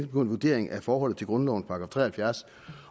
på en vurdering af forholdet til grundlovens § tre og halvfjerds